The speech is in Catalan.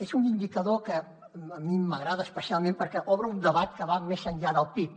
és un indicador que a mi m’agrada especialment perquè obre un debat que va més enllà del pib